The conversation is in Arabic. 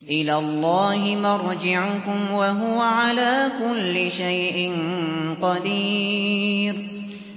إِلَى اللَّهِ مَرْجِعُكُمْ ۖ وَهُوَ عَلَىٰ كُلِّ شَيْءٍ قَدِيرٌ